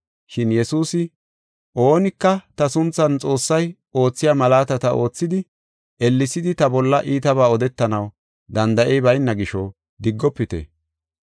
Shin Yesuusi, “Oonika ta sunthan Xoossay oothiya malaatata oothidi, ellesidi ta bolla iitabaa odetanaw danda7ey bayna gisho diggofite.